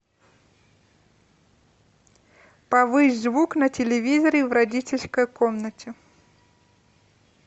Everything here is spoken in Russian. повысь звук на телевизоре в родительской комнате